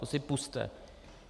To si pusťte.